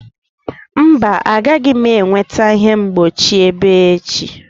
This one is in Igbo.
Mba, agaghị m enweta ihe mgbochi ebe echi.